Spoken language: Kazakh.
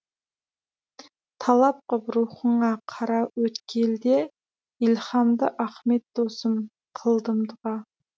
талап қып рухыңа қараөткелде илһамды ахмет досым қылдым дұға